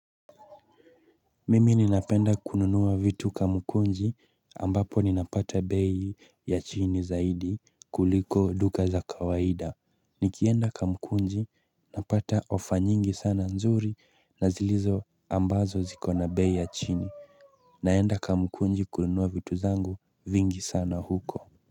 Mimi ninapenda kununua vitu kamkunji ambapo ninapata bei ya chini zaidi kuliko duka za kawaida. Nikienda kamkunji napata ofa nyingi sana nzuri na ambazo ziko na bei ya chini.